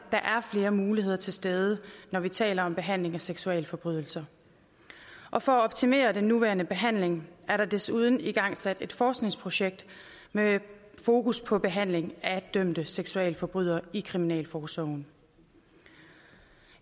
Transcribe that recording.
flere muligheder til stede når vi taler om behandling af seksualforbrydere og for at optimere den nuværende behandling er der desuden igangsat et forskningsprojekt med fokus på behandling af dømte seksualforbrydere i kriminalforsorgen